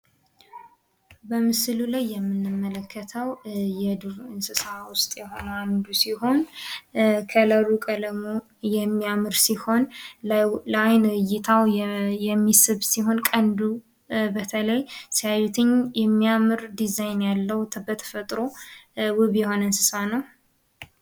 በምስሉ ላይ የምንመለከተው የዱር እንስሳት ውስጥ የሆነ አንዱ ሲሆን ፤ቀለሙ የሚያሚያምር ሲሆን ላይን እይታ የሚስብ ሲሆን ቀንዱ በተለይ ሲያዩትኝ የሚያምር ዲዛይን ያለው በተፈጥሮ ውብ ይሆነ እንስሳ ነው።